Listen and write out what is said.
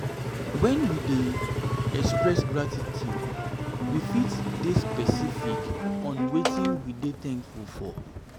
when we dey express gratitude we fit de specific on specific on wetin we de thankful for